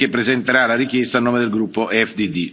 Reid, che presenterà la richiesta a nome del gruppo EFDD.